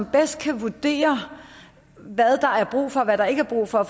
bedst kan vurdere hvad der er brug for og hvad der ikke er brug for